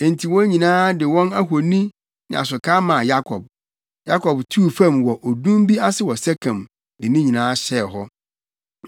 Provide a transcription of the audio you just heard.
Enti wɔn nyinaa de wɔn ahoni ne asokaa maa Yakob. Yakob tuu fam wɔ odum bi ase wɔ Sekem, de ne nyinaa hyɛɛ hɔ.